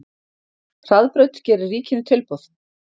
Hraðbraut gerir ríkinu tilboð